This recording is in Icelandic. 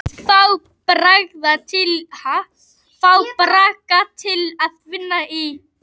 Fá bragga til að vinna í.